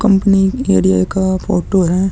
Company area का photo है।